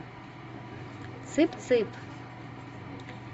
цып цып